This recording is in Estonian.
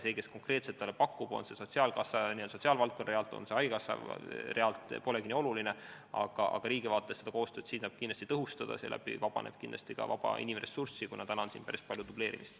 See, kes konkreetselt talle neid pakub, on see sotsiaalkassa n-ö sotsiaalvaldkonna realt või on see haigekassa, polegi nii oluline, aga riigi vaates saab seda koostööd kindlasti tõhustada, seeläbi vabaneb inimressurssi, sest siin on päris palju dubleerimist.